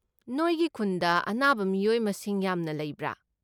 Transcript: ꯅꯣꯏꯒꯤ ꯈꯨꯟꯗ ꯑꯅꯥꯕ ꯃꯤꯑꯣꯏ ꯃꯁꯤꯡ ꯌꯥꯝꯅ ꯂꯩꯕ꯭ꯔꯥ?